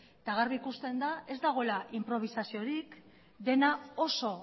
eta garbi ikusten da ez dagoela inprobisasiorik dena oso